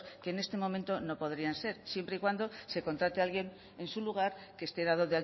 que en este momento no podrían ser siempre y cuando se contrate alguien en su lugar que esté dado